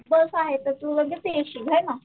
जसं आहे तसं म्हणजे पेशी हो ना